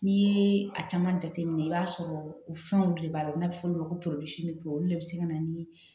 N'i ye a caman jateminɛ i b'a sɔrɔ o fɛnw de b'a la n'a bɛ fɔ olu ma ko olu de bɛ se ka na ni